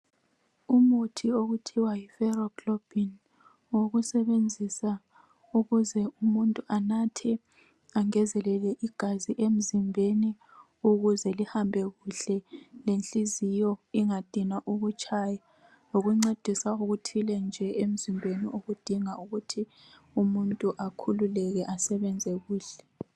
Umuthi okuthiwa yiFeroglobin ngokusebenzisa nxa emuntu efuna igazi emzimbeni ukuze lihambe kuhle lenhliziyo umuntu akhululeke ikakhulu nxa egula.